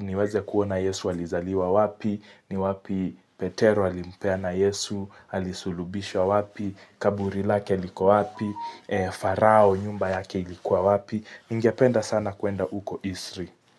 niweze kuona Yesu alizaliwa wapi, niwapi Petero alimpeana Yesu, alisulubishwa wapi, Kaburi lake liko wapi, Farao nyumba yake ilikuwa wapi, ningependa sana kuenda uko Isri.